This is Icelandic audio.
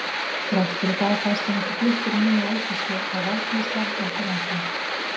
Þrátt fyrir það fæst hann ekki fluttur í nýja eldisstöð og valdníðslan heldur áfram.